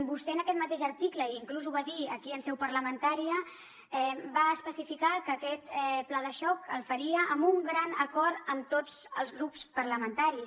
vostè en aquest mateix article i inclús ho va dir aquí en seu parlamentària va especificar que aquest pla de xoc el faria amb un gran acord amb tots els grups parlamentaris